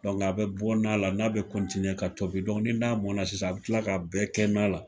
a be bɔ nan la, nan be ka tobi dɔɔni. N'a mɔna sisan a bi kila ka bɛɛ kɛ nan la.